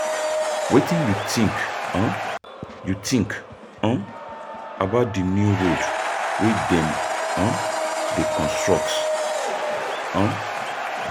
Wetin you think um you think um about di new road wey dem um dey construct? um